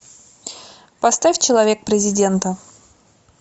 поставь человек президента